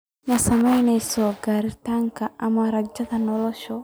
Ma saamaynayso garaadka ama rajada nolosha.